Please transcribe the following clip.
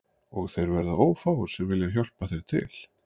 Og þeir verða ófáir sem vilja hjálpa þér til